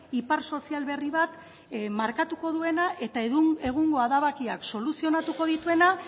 ipar sozial berri bat markatuko duena eta egungo erabakiak soluzionatuko dituena